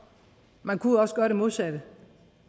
man kunne jo også gøre det modsatte